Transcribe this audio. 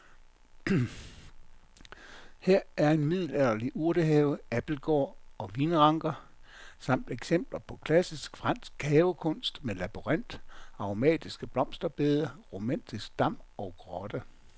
Her er middelalderlig urtehave, abildgård og vinranker samt eksempler på klassisk fransk havekunst med labyrint, aromatiske blomsterbede, romantisk dam og grotte.